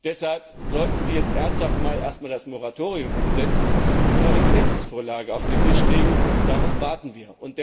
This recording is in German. nicht. Deshalb sollten Sie ernsthaft erst einmal das Moratorium umsetzen und eine Gesetzesvorlage auf den Tisch legen, darauf warten